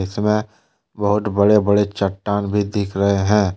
इसमें बहुत बड़े बड़े चट्टान भी दिख रहे हैं।